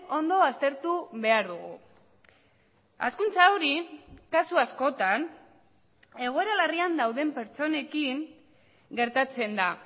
ondo aztertu behar dugu hazkuntza hori kasu askotan egoera larrian dauden pertsonekin gertatzen da